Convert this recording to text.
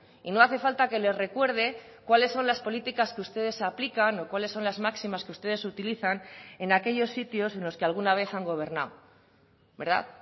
y no hace falta que les recuerde cuáles son las políticas que ustedes aplican o cuáles son las máximas que ustedes utilizan en aquellos sitios en los que alguna vez han gobernado verdad